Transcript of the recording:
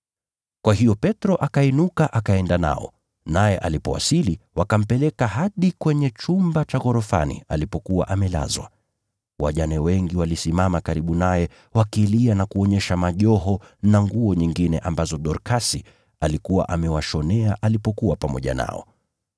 Kwa hiyo Petro akainuka akaenda nao, naye alipowasili, wakampeleka hadi kwenye chumba cha ghorofani alipokuwa amelazwa. Wajane wengi walisimama karibu naye wakilia na kuonyesha majoho na nguo nyingine ambazo Dorkasi alikuwa amewashonea alipokuwa pamoja nao.